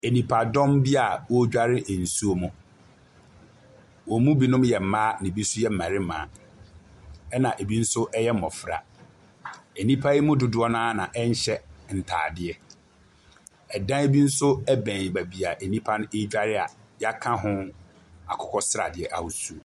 Nnipadɔm bi wɔredware nsuo mu. Wɔn mu bi yɛ mmaa na ebi nso yɛ mmarima. Ɛna ebi nso yɛ mmɔfra. Nnipa yi mu dodoɔ no ara na wɔnhyɛ ntaadeɛ. Ɛdan bi nso bɛn baabi nnipa bi redware a, yɛaka ho akokɔsradeɛ ahosuo.